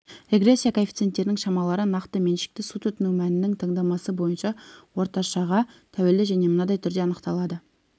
регрессия коэффициенттерінің шамалары нақты меншікті су тұтыну мәнінің таңдамасы бойынша орташаға тәуелді және мынадай түрде анықталады